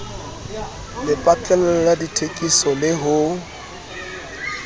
lepatlelo la dithekiso le ho